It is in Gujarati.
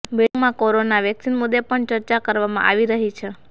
બેઠકમાં કોરોના વેક્સિન મુદ્દે પણ ચર્ચા કરવામાં આવી રહી છે